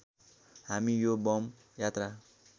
हामी यो बम यात्रा